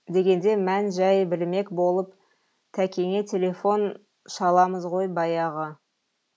дегенде мән жай білмек болып тәкеңе телефон шаламыз ғой баяғы